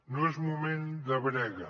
no és moment de brega